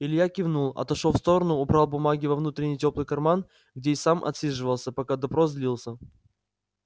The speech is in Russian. илья кивнул отошёл в сторону убрал бумаги во внутренний тёплый карман где и сам отсиживался пока допрос длился